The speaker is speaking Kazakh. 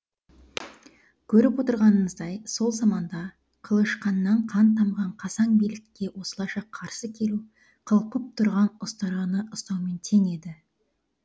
көріп отырғандарыңыздай сол заманда қылышықнан қан тамған қасаң билікке осылайша қарсы келу қылпып тұрған ұстараны ұстаумен тең еді